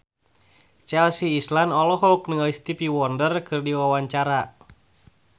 Chelsea Islan olohok ningali Stevie Wonder keur diwawancara